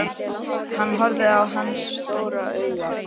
Hann horfði á hana stórum augum.